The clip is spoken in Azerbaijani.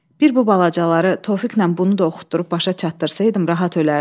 Bir bu balacaları Tofiqnən bunu da oxudub başa çatdırsaydım, rahat ölərdim.